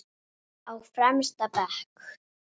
Á fremsta bekk.